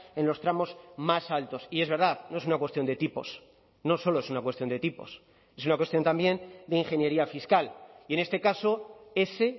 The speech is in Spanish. en los tramos más altos y es verdad no es una cuestión de tipos no solo es una cuestión de tipos es una cuestión también de ingeniería fiscal y en este caso ese